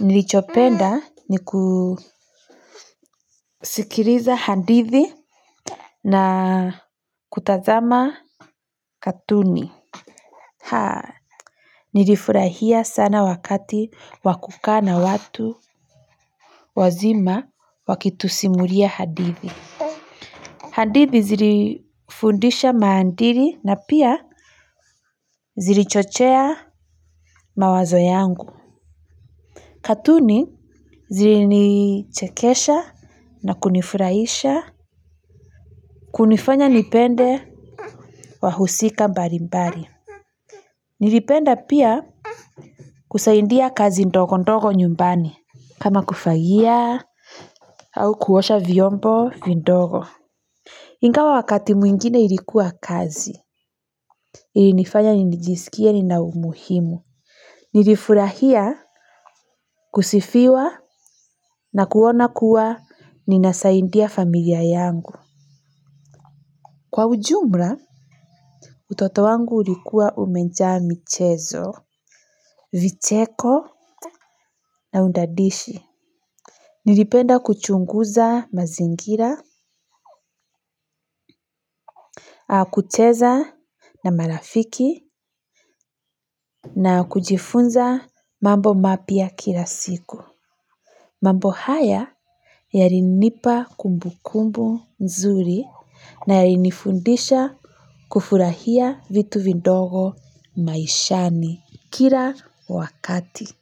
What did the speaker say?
nilichopenda ni kusikiriza hadithi na kutazama katuni. Haa, nilifurahia sana wakati wa kukaa na watu wazima wakitusimuria hadithi. Hadithi zilifundisha maadiri na pia zilichochea mawazo yangu. Katuni zilinichekesha na kunifuraisha. Kunifanya nipende wahusika mbarimbari. Nilipenda pia kusaidia kazi ndogo ndogo nyumbani kama kufagia au kuosha vyombo vidogo ingawa wakati mwingine ilikuwa kazi ilinifanya nijisikie nina umuhimu. Nilifurahia kusifiwa na kuona kuwa ninasaidia familia yangu. Kwa ujumra utoto wangu ulikuwa umejaa michezo, vicheko na udadishi. Nilipenda kuchunguza mazingira, au kucheza na marafiki na kujifunza mambo mapya kila siku. Mambo haya yarinipa kumbukumbu nzuri na yarinifundisha kufurahia vitu vidogo maishani kila wakati.